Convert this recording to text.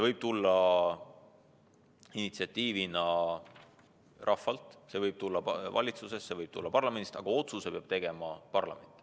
Initsiatiiv võib tulla rahvalt, see võib tulla valitsuselt, see võib tulla parlamendilt – aga otsuse peab tegema parlament.